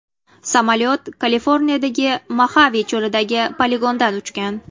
Samolyot Kaliforniyadagi Moxave cho‘lidagi poligondan uchgan.